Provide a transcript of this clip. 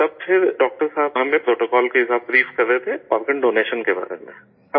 تب پھر ڈاکٹر صاحب ہمیں پروٹوکال کے ساتھ بریف کر رہے تھے آرگن ڈونیشن کے بارے میں